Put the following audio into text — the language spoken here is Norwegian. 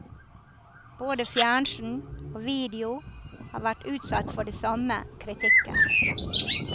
Både fjernsyn og video har vært utsatt for de samme kritikker.